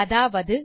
அதாவது